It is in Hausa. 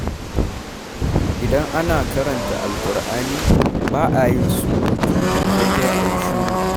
Idan ana karanta Alkur'ani, ba a yin surutu, sai dai a yi shiru